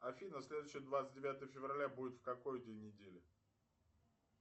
афина следующее двадцать девятое февраля будет в какой день недели